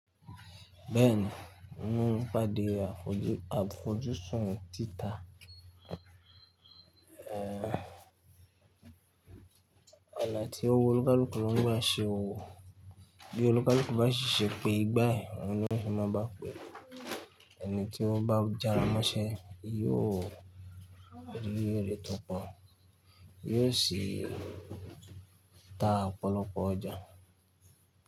Bẹ́ẹ̀ni, inú ìpàdé àfojúsùn títà, Ona tí ó wu olukaluku ni ó ń bá ṣe òwò. Bí olukàlùkù bá ṣì ṣe pé igbá ẹ, òun ni won se máa bá pè é. Ẹni tí ó bá jára mọ́ṣẹ́ yóò rí èrè tó pọ̀, yóò sì ta ọ̀pọ̀lọpọ̀ ọjà.